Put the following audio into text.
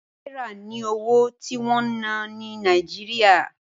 Náírà ni owó tí wọ́n ń ná ní Nàíjíríà.